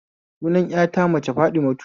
Sunan ƴata ta mace Fatimatu